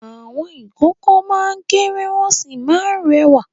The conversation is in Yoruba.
Àwọn ìkókó máa ń kéré wọ́n sì máa ń rẹwà.